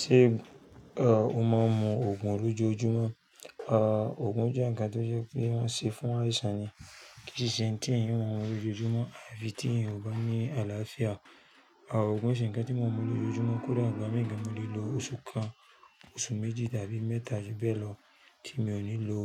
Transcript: Ṣé o máa ń mu Ògùn lójoojúmọ́? Ògùn jẹ́ ǹkan tó jé pé wọ́n ṣe fún àìsàn ni, kì í ṣi se ǹkan tí èèyàn ń mu lójoojúmọ́, à fi tí èèyàn kò bá ní àlàáfíà. Ògùn kìí se ǹkan tí mo ń mu lójoojúmọ́ kódà ìgbà míràn gan mo lè lo oṣù kan, oṣù méjì tàbí mẹ́ta ju bẹ́ẹ̀ lọ tí mo ò ní lo